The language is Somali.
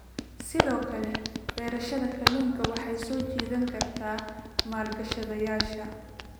Sidoo kale, beerashada kalluunka waxay soo jiidan kartaa maalgashadayaasha.